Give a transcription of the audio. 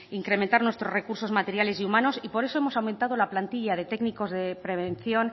incrementar nuestros recursos materiales y por eso hemos aumentado la plantilla de técnicos de prevención